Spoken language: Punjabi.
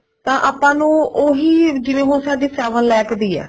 ਤੇ ਆਪਾਂ ਨੂੰ ਉਹੀ ਜਿਵੇਂ ਹੁਣ ਸਾਡੀ seven lakh ਦੀ ਹੈ